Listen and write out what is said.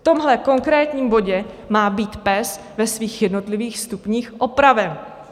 V tomhle konkrétním bodě má být PES ve svých jednotlivých stupních opraven.